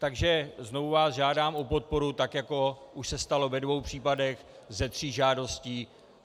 Takže znovu vás žádám o podporu, tak jako už se stalo ve dvou případech ze tří žádostí.